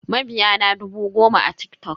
Mabiya na dubu goma a TikTok.